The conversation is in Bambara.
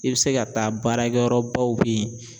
I bi se ka taa baarakɛyɔrɔbaw be ye